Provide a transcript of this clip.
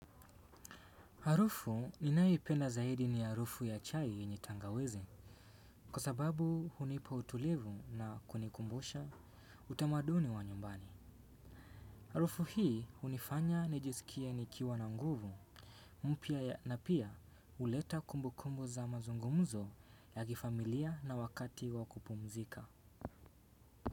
Harufu ninayopenda zaidi ni harufu ya chai yenye tangawizi. Kwa sababu hunipa utulivu na kunikumbusha utamaduni wa nyumbani. Harufu hii hunifanya nijisikie nikiwa na nguvu, mpya na pia huleta kumbukumbu za mazungumuzo ya kifamilia na wakati wa kupumzika.